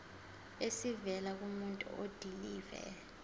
esivela kumuntu odilive